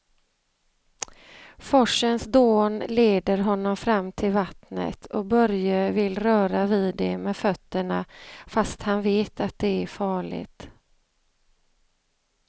Forsens dån leder honom fram till vattnet och Börje vill röra vid det med fötterna, fast han vet att det är farligt.